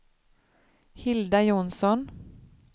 Hilda Jonsson